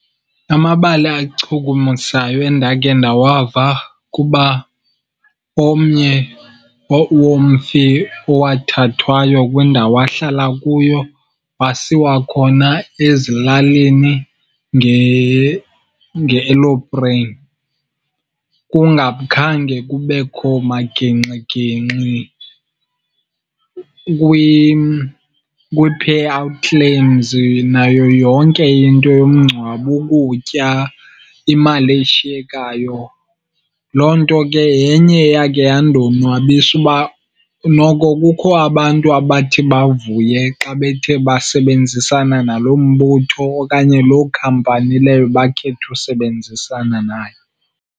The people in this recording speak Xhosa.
Amabali achukumisayo endake ndawava kuba omnye womfi owathathwayo kwindawo ahlala kuyo wasiwa khona ezilalini nge-elopreyini kungakhange kubekho magingxigingxi kwi-payout claims nayo yonke into yomngcwabo, ukutya, imali eshiyekayo. Loo nto ke yenye eyakhe yandonwabisa. Uba noko kukho abantu abathi bavuye xa bethe basebenzisana nalo mbutho okanye loo khampani leyo bakhethe usebenzisana nayo.